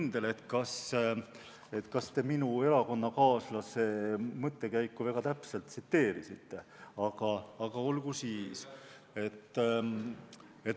Ma ei ole kindel, kas te minu erakonnakaaslase mõttekäiku väga täpselt tsiteerisite, aga olgu siis.